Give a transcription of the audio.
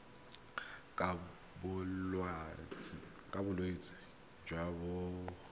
ka bolwetsi jo bo koafatsang